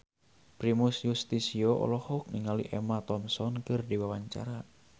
Primus Yustisio olohok ningali Emma Thompson keur diwawancara